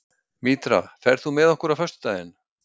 Mítra, ferð þú með okkur á föstudaginn?